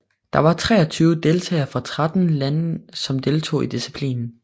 Der var treogtyve deltagere fra tretten lande som deltog i disciplinen